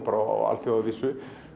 á alþjóðavísu